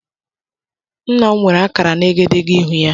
Ńnà m nwere akara na egedegeihū ya.